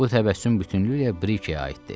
Bu təbəssüm bütünlüklə Brikəyə aid idi.